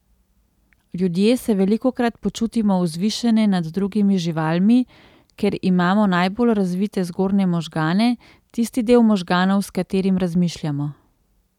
Ljudje se velikokrat počutimo vzvišene nad drugimi živalmi, ker imamo najbolje razvite zgornje možgane, tisti del možganov, s katerim razmišljamo.